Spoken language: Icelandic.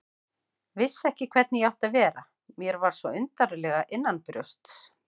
Vissi ekki hvernig ég átti að vera, mér var svo undarlega innanbrjósts.